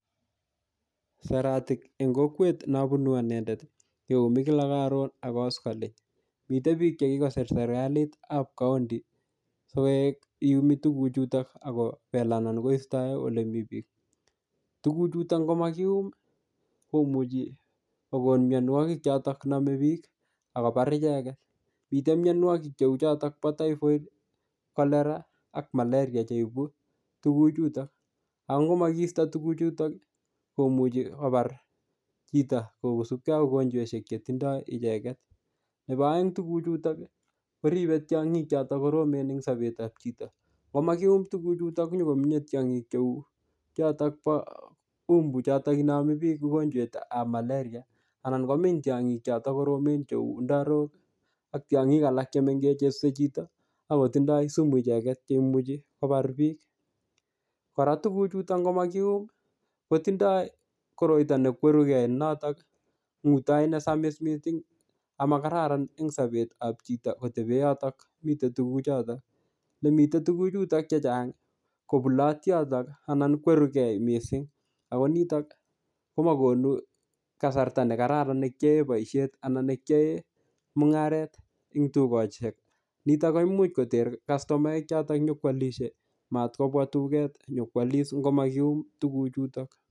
Saratik eng kokwet neabunu anendet, keumi kila karon ak kaskoliny. Mitei biik che kikosir serikalit ap county, sikoek iumi tuguk chutok akobel anan koistoe ole mii biik. Tuguk chutok ngomakium, komuchi kokon mianwogik chotok namee biik, akobar icheket. Mitei mianwogik cheu chotok po typhoid, cholera ka malaria che ibu tuguk chutok. Angokomakiisto tuguk chutok, komuchi kobar chito kosubkey ak mogonjweshek che tindoi icheket. Nebo aeng tuguk chutok, koribe tiongik chotok koromen eng sobetap chito. Ngomakium tuguk chutok, nyikomenye tiongik cheu chotok bo umbu chotok inami biik mogonjwetab malaria, anan komeny tiongik chotok koromen cheu ndarok ak tiongik alak che mengech chesuse chito, akotindoi sumu icheket che imuchi kobar bik. Kora tuguk chutok ngomakium, kotindoi koroito nekweruke ne notok ngutoi ne samis missing, amakararan eng sobetap chito kotebe yotok mitei tuguk chotok. Lemite tuguk chuto chechang, kobulot yotok anan kwerukei missing. Ako nitok, ko makonu kasarta ne kararan ne kiyae boisiet anan ne kiyae mung'aret eng dukoshek. Nitok koimuch koter kastomaek chotok nyipkwalishe. Matkobwa duket nyikwalis ngo matkium tuguk chutok